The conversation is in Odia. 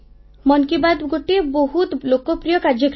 ମନ କି ବାତ୍ ଗୋଟିଏ ବହୁତ ଲୋକପ୍ରିୟ କାର୍ଯ୍ୟକ୍ରମ